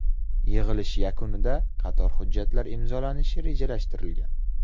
Yig‘ilish yakunida qator hujjatlar imzolanishi rejalashtirilgan.